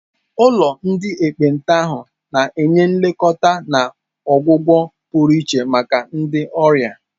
Ụlọ ndị ekpenta ahụ na-enye nlekọta na ọgwụgwọ pụrụ iche maka ndị ọrịa.